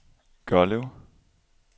Gørlev